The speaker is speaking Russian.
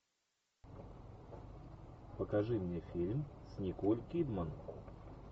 покажи мне фильм с николь кидман